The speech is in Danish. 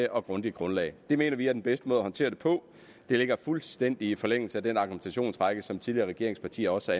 og grundigt grundlag det mener vi er den bedste måde at håndtere det på det ligger fuldstændig i forlængelse af den argumentationsrække som tidligere regeringspartier også